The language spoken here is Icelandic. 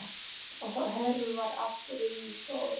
Hörfar aftur inn í stofu.